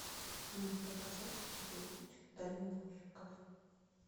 ты можешь показать ледовый путь дальнобойщиков